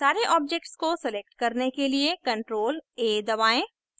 सारे objects को select करने के लिए ctrl + a दबाएं